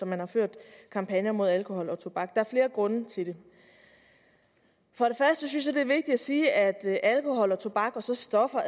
man har ført kampagner mod alkohol og tobak er flere grunde til det først synes jeg det er vigtigt at sige at alkohol tobak og så stoffer